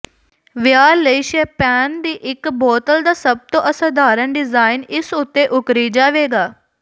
ਵਿਆਹ ਲਈ ਸ਼ੈਂਪੇਨ ਦੀ ਇੱਕ ਬੋਤਲ ਦਾ ਸਭ ਤੋਂ ਅਸਧਾਰਨ ਡਿਜ਼ਾਇਨ ਇਸ ਉੱਤੇ ਉੱਕਰੀ ਜਾਵੇਗਾ